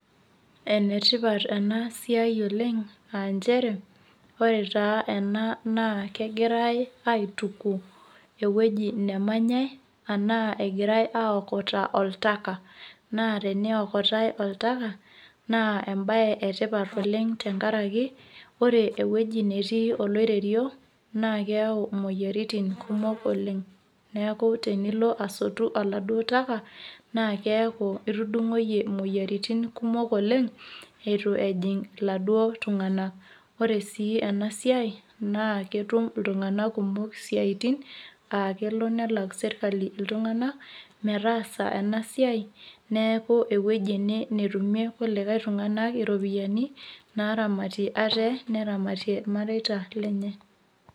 Enetioat ena siai oleng' aa nchere ore taa ena naa kegirai aituku ewueji nemnyai enaa egirai aiokota oltaka naa teniokotai oltaka naa embaye etipat oleng' temurua tenkaraki ore naa ewueji netii oloiterio naa keyau imoyiaritin kumok oleng', neeku tenilo asotu oladuoo taka naa keeku itudung'oyie imoyiaritin kumok oleng' itu ejing' iladduoo tung'anak ore sii ena siai naa ketum iltung'anak kumo isiaitin aa kelo nelak sirkali iltung'anak metaasa ena siai neeku ewueji ene netumie kulie tung'anak iropiyiani naaramatie ate neramatie irmareita lenye.